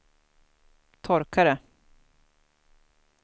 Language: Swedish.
torkare